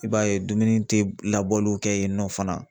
I b'a ye dumuni tɛ labɔliw kɛ yen nɔ fana.